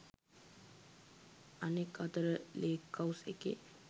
අනෙක් අතට lake house එකේ